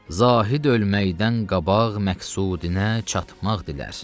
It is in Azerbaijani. Zahid ölməkdən qabaq məqsudinə çatmaq dilər.